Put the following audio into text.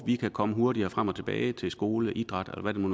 de kan komme hurtigere frem og tilbage til skole idræt eller hvad det